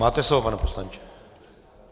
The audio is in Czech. Máte slovo, pane poslanče.